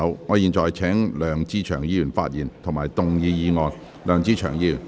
我現在請梁志祥議員發言及動議議案。